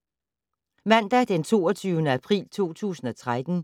Mandag d. 22. april 2013